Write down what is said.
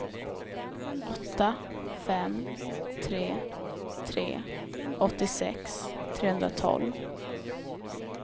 åtta fem tre tre åttiosex trehundratolv